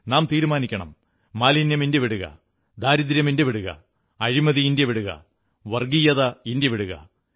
നാം തീരുമാനിക്കണം മാലിന്യം ഇന്ത്യ വിടുക ദാരിദ്ര്യം ഇന്ത്യ വിടുക അഴിമതി ഇന്ത്യ വിടുക വർഗ്ഗീയത ഇന്ത്യ വിടുക